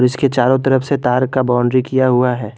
इसके चारों तरफ से तार का बाउंड्री किया हुआ है।